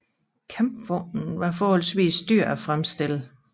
Kampvognen var også forholdsvis dyr at fremstille